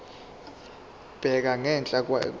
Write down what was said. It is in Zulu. bheka ngenhla ikheli